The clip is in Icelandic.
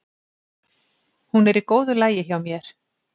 Hún er í góðu lagi hjá mér.